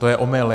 To je omyl.